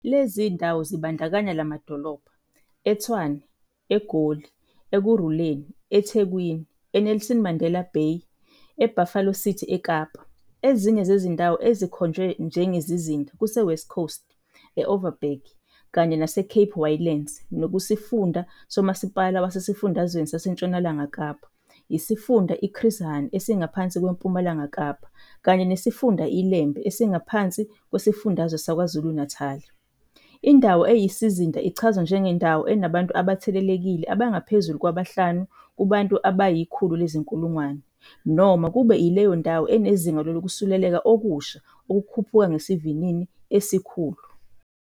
Lezi zindawo zibandakanya la madolobha- eTshwane eGoli Ekurhuleni eThekwini e-Nelson Mandela Bay e-Buffalo City eKapa. Ezinye zezindawo ezikhonjwe njengezizinda kuse-West Coast, e-Overberg kanye nase-Cape Winelands nekusifunda somasipala wasesifundazweni saseNtshonalanga Kapa, isifunda i-Chris Hani esingaphansi kweMpumalanga Kapa, kanye nesifunda iLembe esingaphansi kwesifundazwe saKwaZulu-Natali. Indawo eyisizinda ichazwa njengendawo enabantu abathelelekile abangaphezulu kwabahlanu kubantu abayizi-100 000 noma kube yileyo ndawo enezinga lokusuleleka okusha okukhuphuka ngesivinini esikhulu.